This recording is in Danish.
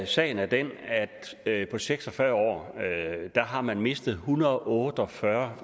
sagen er den at på seks og fyrre år har man mistet en hundrede og otte og fyrre